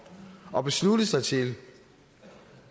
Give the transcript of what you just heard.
at beslutte sig til